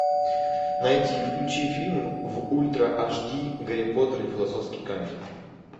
найди и включи фильм в ультра ашди гарри поттер и философский камень